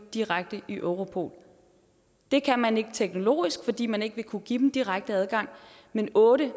direkte i europol det kan man ikke teknologisk fordi man ikke vil kunne give dem direkte adgang men otte